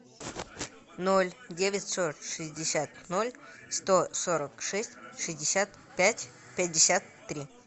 ноль девятьсот шестьдесят ноль сто сорок шесть шестьдесят пять пятьдесят три